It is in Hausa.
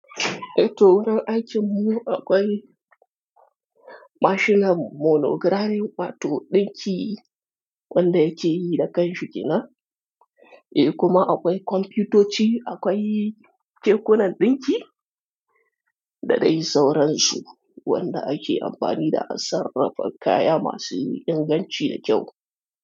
Eh to wurin aikin mu akwai mashinan monogirari wato ɗinki wanda yake yi da kanshi ƙenan, eh kuma akwai kwamfutoci, akwai kekunan ɗinki da dai sauransu wanda ake amfani da a sarrafa kaya masu inganci da kyau.